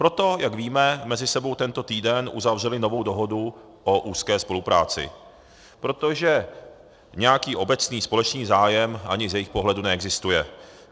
Proto, jak víme, mezi sebou tento týden uzavřeli novou dohodu o úzké spolupráci, protože nějaký obecný společný zájem ani z jejich pohledu neexistuje.